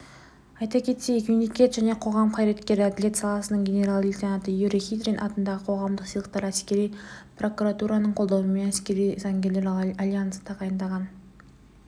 айта кетейік мемлекет және қоғам қайраткері әділет саласының генерал-лейтанаты юрий хитрин атындағы қоғамдық сыйлықты әскери прокуратураның қолдауымен әскери заңгерлер альянсы тағайындаған